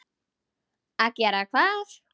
Að gera hvað?